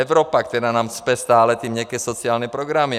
Evropa, která nám cpe stále ty měkké sociální programy.